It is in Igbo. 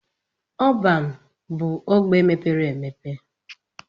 Ọban bu ogbe mepere emepe.